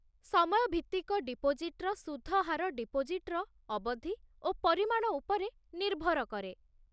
ସମୟଭିତ୍ତିକ ଡିପୋଜିଟ୍ର ସୁଧ ହାର ଡିପୋଜିଟ୍‌ର ଅବଧି ଓ ପରିମାଣ ଉପରେ ନିର୍ଭର କରେ